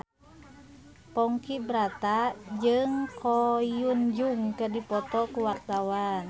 Ponky Brata jeung Ko Hyun Jung keur dipoto ku wartawan